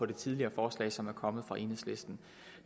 det tidligere forslag som kom fra enhedslisten